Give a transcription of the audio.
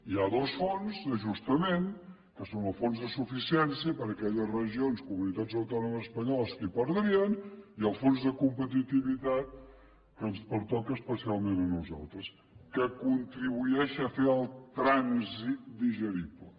hi ha dos fons d’ajustament que són el fons de suficiència per a aquelles regions comunitats autònomes espanyoles que hi perdrien i el fons de competitivitat que ens pertoca especialment a nosaltres que contribueix a fer el trànsit digerible